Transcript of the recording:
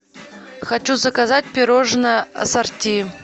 хочу заказать пирожное ассорти